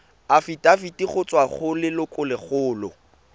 afitafiti go tswa go lelokolegolo